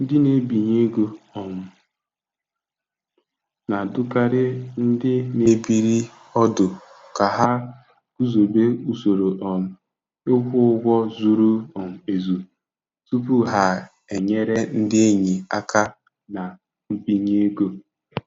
Ndị na-ebinye ego um na-adụkarị ndị na-ebiri ọdụ ka ha guzobe usoro um ịkwụ ụgwọ zuru um ezu tupu ha enyere ndị enyi aka na mbinye ego.